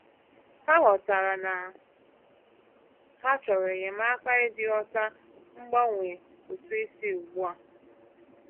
Ha ghọtara na ha chọrọ enyemaka iji ghọta mgbanwe ụtụ isi ugbu a.